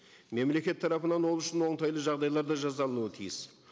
мемлекет тарапынан ол үшін оңтайлы жағдайлар да жасалынуы тиіс